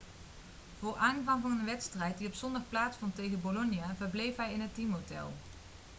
voor aanvang van een wedstrijd die op zondag plaatsvond tegen bolonia verbleef hij in het teamhotel